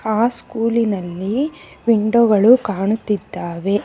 ಅ ಸ್ಕೂಲಿನಲ್ಲಿ ವಿಂಡೋ ಗಳು ಕಾಣುತ್ತಿದ್ದವೆ.